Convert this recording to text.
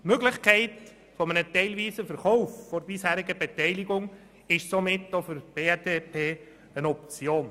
Die Möglichkeit eines teilweisen Verkaufs der bisherigen Beteiligung ist somit auch für die BDP eine Option.